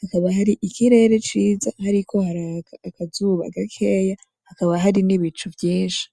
hakaba hari ikirere ciza hariko haraka akazuba gakeya, hakaba hari n'ibicu vyinshi.